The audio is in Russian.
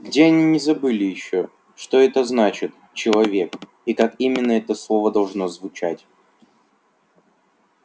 где они не забыли ещё что это значит человек и как именно это слово должно звучать